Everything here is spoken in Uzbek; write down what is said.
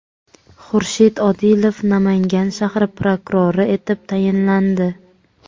Xurshid Odilov Namangan shahri prokurori etib tayinlandi.